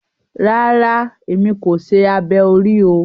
Rara, èmi kò ṣe abẹ orí o